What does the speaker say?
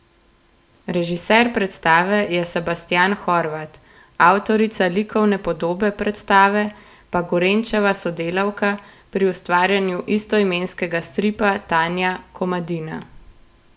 Režiser predstave je Sebastijan Horvat, avtorica likovne podobe predstave pa Gorenčeva sodelavka pri ustvarjanju istoimenskega stripa Tanja Komadina.